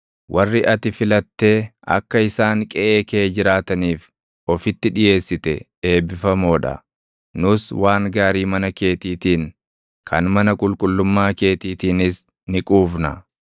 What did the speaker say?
Warri ati filattee akka isaan qeʼee kee jiraataniif ofitti dhiʼeessite eebbifamoo dha! Nus waan gaarii mana keetiitiin, kan mana qulqullummaa keetiitiinis ni quufna.